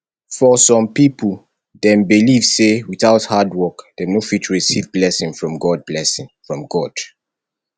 for some pipo dem believe sey without hard work dem no fit receive blessing from god blessing from god